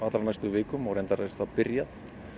og reyndar er það byrjað